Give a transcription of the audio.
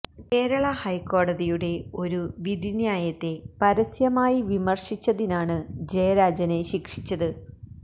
കേരള ഹൈക്കോടതിയുടെ ഒരു വിധിന്യായത്തെ പരസ്യമായി വിമര്ശിച്ചതിനാണ് ജയരാജനെ ശിക്ഷിച്ചത്